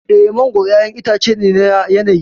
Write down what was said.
Eh, mangwaro ƴaƴan itace ne na yanayi.